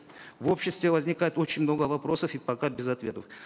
в обществе возникает очень много вопросов и пока без ответов